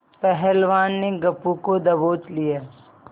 पहलवान ने गप्पू को दबोच लिया